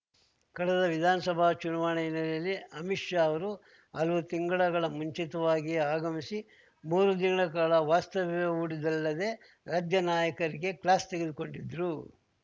ಕಳೆದ ವಿಧಾನಸಭಾ ಚುನಾವಣೆ ಹಿನ್ನೆಲೆಯಲ್ಲಿ ಅಮಿತ್‌ ಶಾ ಅವರು ಹಲವು ತಿಂಗಳುಗಳ ಮುಂಚಿತವಾಗಿಯೇ ಆಗಮಿಸಿ ಮೂರು ದಿನಗಳ ಕಾಲ ವಾಸ್ತವ್ಯ ಹೂಡಿದ್ದಲ್ಲದೆ ರಾಜ್ಯ ನಾಯಕರಿಗೆ ಕ್ಲಾಸ್‌ ತೆಗೆದುಕೊಂಡಿದ್ರು